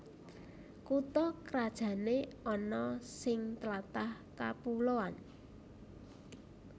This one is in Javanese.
Kutha krajané ana sing tlatah kapuloan